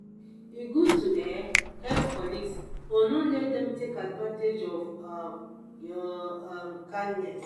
e good to um help colleagues but no let no let dem take advantage of um your um kindness.